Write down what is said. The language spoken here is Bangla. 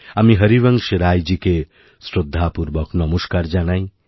আমি হরিবংশ রাইজীকে শ্রদ্ধাপূর্বক নমস্কার জানাই